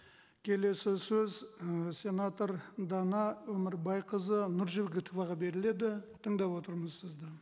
келесі сөз і сенатор дана өмірбайқызы нұржігітоваға беріледі тыңдап отырмыз сізді